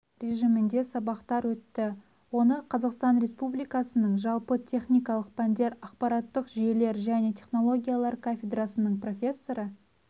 режимде сабақтар өтті оны қазақстан республикасының жалпы техникалық пәндер ақпараттық жүйелер және технологиялар кафедрасының профессоры